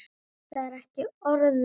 Það er ekki orðum aukið.